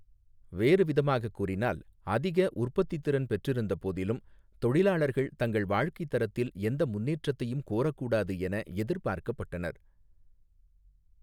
வேறுவிதமாகக் கூறினால், அதிக உற்பத்தித்திறன் பெற்றிருந்த போதிலும், தொழிலாளர்கள் தங்கள் வாழ்க்கைத் தரத்தில் எந்த முன்னேற்றத்தையும் கோரக்கூடாது என எதிர்பார்க்கப்பட்டனர்.